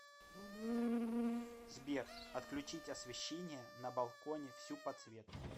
сбер отключить освещение на балконе всю подсветку